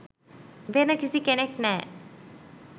වෙන කිසි කෙනෙක් නෑ.